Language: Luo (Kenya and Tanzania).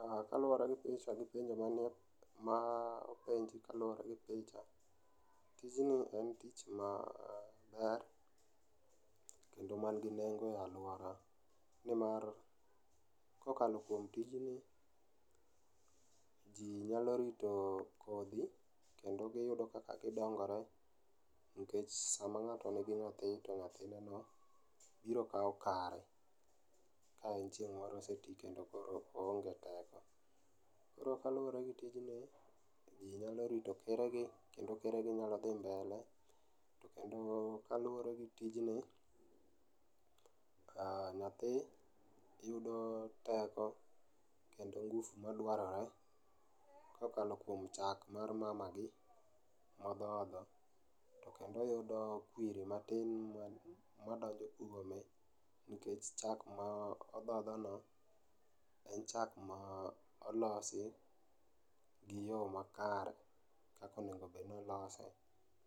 Ah, kaluwore gi picha gi pinje mane ma openji kaluwore gi picha, tijni en tich maber kendo man gi nengo e alwora. Nimar kokalo kuom tijni, ji nyalo rito kodhi kendo gedo kaka gidongore. Nikech sama ng'ato nigi nyathi to nyathine no biro kawo kare, ka en chieng' moro ose ti kendo koro oonge teko. Koro kaluwore gi tijni, to ji nyalo rito keregi kendo keregi nyalo dhi mbele. To kendo kaluwore gi tijni, nyathi yudo teko kendo ngufu madwarore kokalo kuom chak mar mamagi, modhodho. To kendo oyudo kwiri matin madonjo kuome, nikech chak ma odhodhono, en chak ma olosi gi yo makare kakonegobednolose